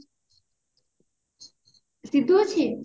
ସିଧୁ ଅଛି?